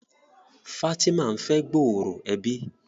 Fatima n'fe gbooro ẹbí.